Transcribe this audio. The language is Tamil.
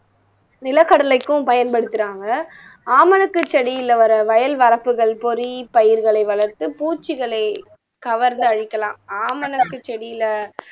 நிலக்கடலைக்கும் பயன்படுத்துறாங்க ஆமணக்கு செடியில வர வயல் வரப்புகள் பொறி பயிர்களை வளர்த்து பூச்சிகளை கவர்ந்து அழிக்கலாம் ஆமணக்கு செடியில